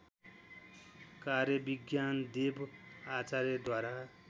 कार्य विज्ञानदेव आचार्यद्वारा